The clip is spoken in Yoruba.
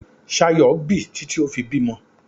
Ṣayọ̀ bì títí ó fi bímọ.